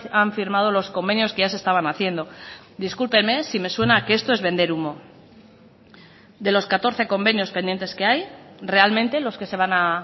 han firmado los convenios que ya se estaban haciendo discúlpeme si me suena a que esto es vender humo de los catorce convenios pendientes que hay realmente los que se van a